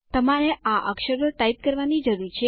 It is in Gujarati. તમારે આ અક્ષરો ટાઇપ કરવાની જરૂરી છે